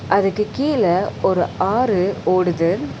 அதுக்கு கீழ ஒரு ஆறு ஓடுது.